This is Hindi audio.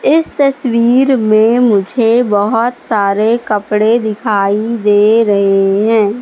इस तस्वीर में मुझे बहोत सारे कपड़े दिखाई दे रहे हैं।